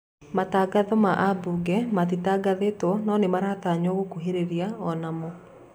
Matagatho ma abuge matitangathĩto no nĩmaratanyo gũkuhĩrĩria onamo